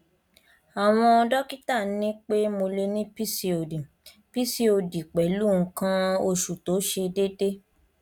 àwọn dọkítà ní pé mo lè ní pcod pcod pẹlú nǹkan oṣù tó ṣe déédé